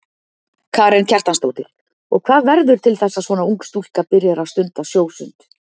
Karen Kjartansdóttir: Og hvað verður til þess að svona ung stúlka byrjar að stunda sjósund?